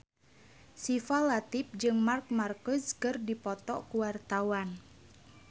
Syifa Latief jeung Marc Marquez keur dipoto ku wartawan